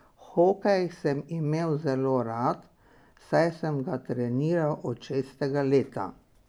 Hokej sem imel zelo rad, saj sem ga treniral od šestega leta.